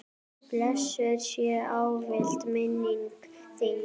Blessuð sé ávallt minning þín.